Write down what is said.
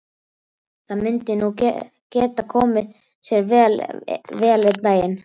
Það myndi nú geta komið sér vel einn daginn.